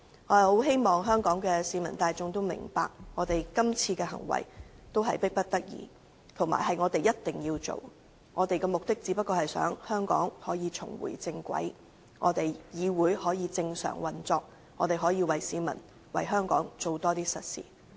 我十分希望市民大眾明白，今次這樣做實在是迫不得已，但卻一定要做，目的就是要令香港重回正軌、令議會正常運作，並為市民和香港多做實事。